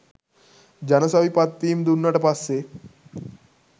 ජනසවි පත්වීම් දුන්නට පස්සෙ